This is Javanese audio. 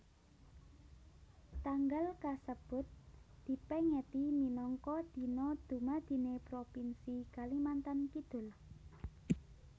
Tanggal kasebut dipèngeti minangka Dina Dumadiné Propinsi Kalimantan Kidul